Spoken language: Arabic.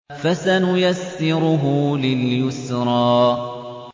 فَسَنُيَسِّرُهُ لِلْيُسْرَىٰ